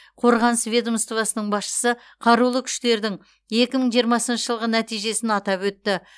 қорғаныс ведомствосының басшысы қарулы күштердің екі мың жиырмасыншы жылғы нәтижесін атап өтті